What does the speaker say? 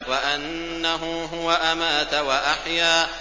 وَأَنَّهُ هُوَ أَمَاتَ وَأَحْيَا